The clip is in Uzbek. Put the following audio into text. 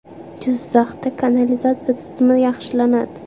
Jizzaxda kanalizatsiya tizimi yaxshilanadi.